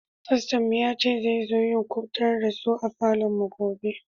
Fasto'n mu ya ce zai zo yin kubatarswa a falon mu gobe.